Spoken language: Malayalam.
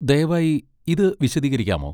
ദയവായി ഇത് വിശദീകരിക്കാമോ?